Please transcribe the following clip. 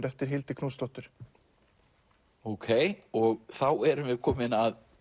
eftir Hildi Knútsdóttur ókei og þá erum við komin að